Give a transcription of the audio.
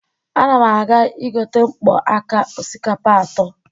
Ana m aga igote mkpo aka osikapa atọ.